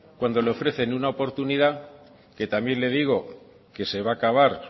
cuando le ofrecen una oportunidad que también le digo que se va a acabar